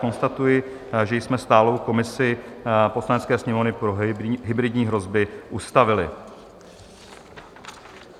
Konstatuji, že jsme stálou komisi Poslanecké sněmovny pro hybridní hrozby ustavili.